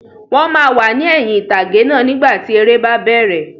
Wọ́n máa wà ní ẹ̀yin ìtàgé náà nígbàtí eré bá bẹ̀rẹ̀